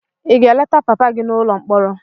Ị ga-eleta papa gị n'ụlọ mkpọrọ?